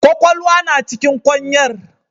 Kwakwalwa na cikin kwanyar.